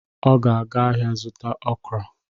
Ọ ga-aga ahịa zụta okra